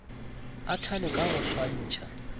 a thale ka go swantšha